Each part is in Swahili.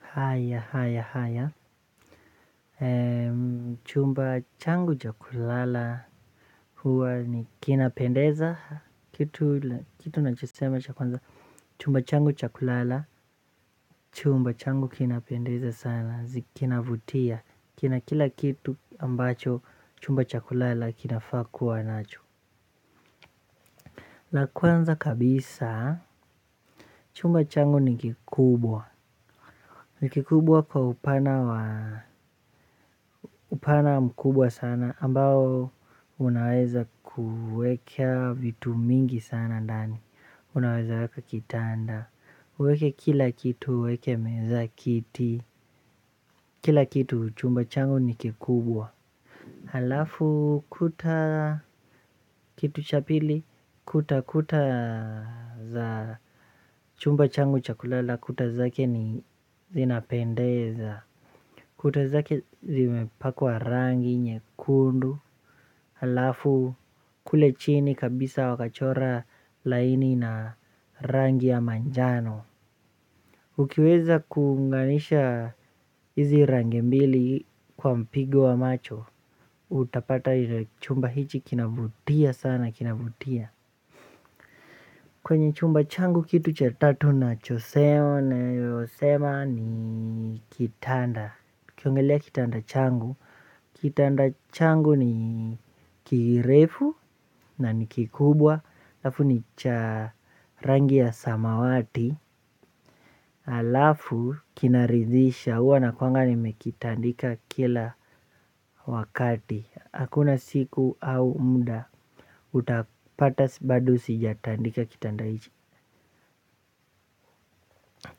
Haya haya haya, chumba changu cha kulala huwa ni kinapendeza, kitu nachosema cha kulala chumba changu kinapendeza sana, zi kinavutia, kina kila kitu ambacho chumba chabkulala kinafaa kuwa nacho. La kwanza kabisa. Chumba changu ni kikubwa. Ni kikubwa kwa upana wa upana mkubwa sana ambao unaweza kueka vitu mingi sana ndani. Unaweza weka kitanda uweke kila kitu uweke meza kiti. Kila kitu chumba changu ni kikubwa. Halafu kuta kitu cha pili kutakuta za chumba changu cha kulala kuta zake ni zinapendeza. Kuta zake zimepakwa rangi nyekundu halafu kule chini kabisa wakachora laini na rangi ya manjano. Ukiweza kunganisha hizi rangi mbili kwa mpigo wa macho utapata chumba hichi kinavutia sana kinavutia. Kwenye chumba changu kitu cha tatu na cho sema nayosema ni kitanda tukiongelea kitanda changu, kitanda changu ni kirefu na ni kikubwa. Alafu ni cha rangi ya samawati. Alafu kinadhizisha uwa na kwanga nimekitandika kila wakati. Hakuna siku au muda utapata bado sijatandika kitanda ichi.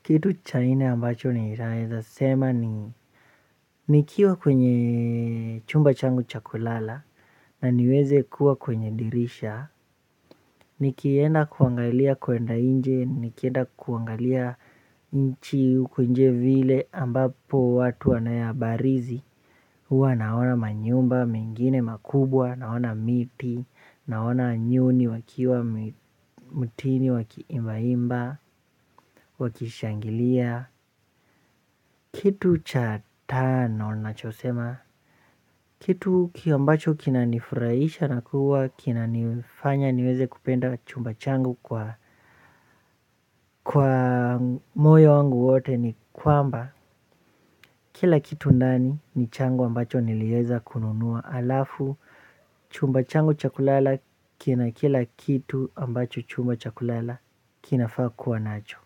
Kitu chai nne ambacho ninaeza sema ni nikiwa kwenye chumba changu cha kulala na niweze kuwa kwenye dirisha. Nikienda kuangalia kuenda inje. Nikienda kuangalia nchi ukuinje vile ambapo watu wanayabarizi. Hua naona manyumba, mengine makubwa, naona miti, naona nyuni wakiwa mutini wakiimba imba, wakishangilia. Kitu cha tano nachosema kitu ki ambacho kinanifurahisha na kuwa, kinanifanya niweze kupenda chumba changu kwa moyo wangu wote ni kwamba kila kitu ndani ni changu ambacho nilieza kununua alafu chumba changu cha kulala kina kila kitu ambacho chumba cha kulala kinafaa kuwa nacho.